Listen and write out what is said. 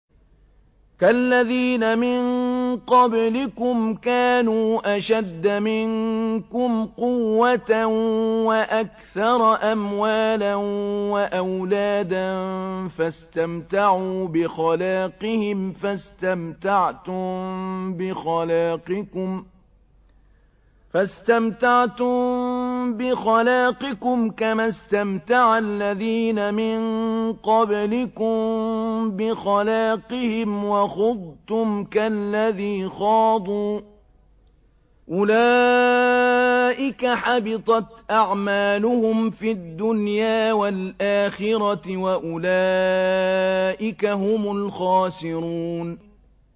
كَالَّذِينَ مِن قَبْلِكُمْ كَانُوا أَشَدَّ مِنكُمْ قُوَّةً وَأَكْثَرَ أَمْوَالًا وَأَوْلَادًا فَاسْتَمْتَعُوا بِخَلَاقِهِمْ فَاسْتَمْتَعْتُم بِخَلَاقِكُمْ كَمَا اسْتَمْتَعَ الَّذِينَ مِن قَبْلِكُم بِخَلَاقِهِمْ وَخُضْتُمْ كَالَّذِي خَاضُوا ۚ أُولَٰئِكَ حَبِطَتْ أَعْمَالُهُمْ فِي الدُّنْيَا وَالْآخِرَةِ ۖ وَأُولَٰئِكَ هُمُ الْخَاسِرُونَ